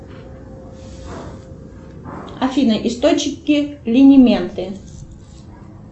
афина источники линименты